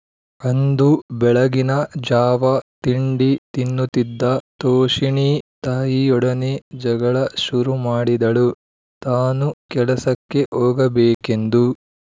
ಅಂದು ಬೆಳಗಿನ ಜಾವ ತಿಂಡಿ ತಿನ್ನುತ್ತಿದ್ದ ತೋಷಿಣೀ ತಾಯಿಯೊಡನೆ ಜಗಳ ಶುರುಮಾಡಿದಳು ತಾನು ಕೆಲಸಕ್ಕೆ ಹೋಗಬೇಕೆಂದು